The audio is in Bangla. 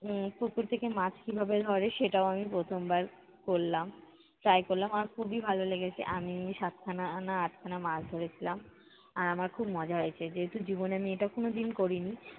উম পুকুর থেকে মাছ কীভাবে ধরে সেটাও আমি প্রথমবার করলাম, try করলাম, আমার খুবই ভালো লেগেছে আমি সাত খানা না আনা আট খানা মাছ ধরেছিলাম। আর আমার খুব মজা হয়েছে। যেহেতু, জীবনে আমি এটা কোনোদিন করিনি।